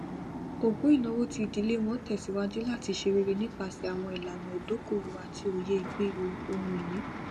ògún ìnáwó ti ìdílé wọn tẹsíwájú láti ṣe rere nípasẹ àwọn ìlànà ìdókòòwò àti òyé ìgbèrò ohunìní